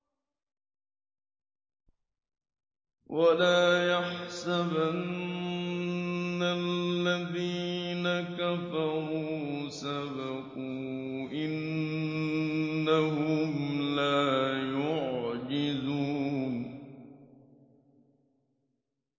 وَلَا يَحْسَبَنَّ الَّذِينَ كَفَرُوا سَبَقُوا ۚ إِنَّهُمْ لَا يُعْجِزُونَ